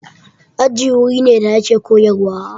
Aji wuri ne da ake koyarwa.